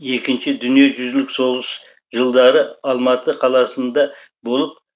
екінші дүниежүзілік соғыс жылдары алматы қаласында болып